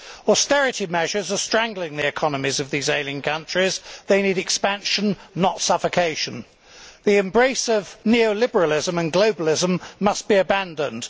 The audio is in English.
Austerity measures are strangling the economies of these ailing countries they need expansion, not suffocation. The embrace of neo liberalism and globalism must be abandoned.